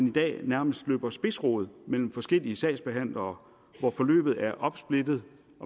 i dag nærmest løber spidsrod mellem forskellige sagsbehandlere hvor forløbet er opsplittet